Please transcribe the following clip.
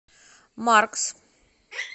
маркс